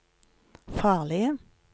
farlige